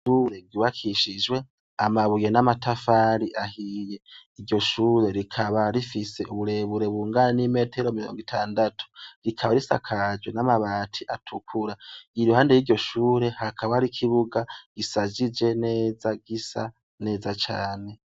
Ishure ryubakishijwe amabuye n'amatafari ahiye. Iryo shure rikaba rifise uburebure bungana n'imetero mirongo itandatu, rikaba risakajwe n'amabati atukura. Iruhande y'iryo shure, hakaba hari ikibuga gishajije neza, gisa neza cane.